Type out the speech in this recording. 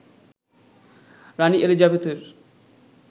রানি এলিজাবেথের